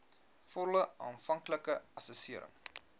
volle aanvanklike assessering